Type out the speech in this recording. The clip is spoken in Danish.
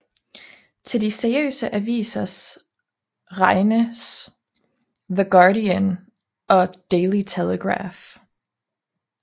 Til de seriøse aviser regnes The Guardian og Daily Telegraph